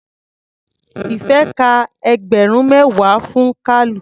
Ìfẹ́ ka ẹgbẹ̀rún mẹ́wàá fún Kalu.